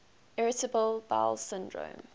irritable bowel syndrome